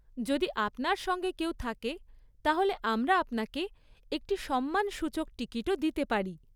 যদি আপনার সঙ্গে কেউ থাকে তাহলে আমরা আপনাকে একটি সম্মানসূচক টিকিটও দিতে পারি।